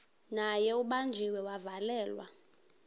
naye ubanjiwe wavalelwa